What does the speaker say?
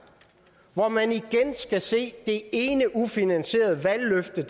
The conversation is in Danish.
hvor man igen skal se det ene ufinansierede valgløfte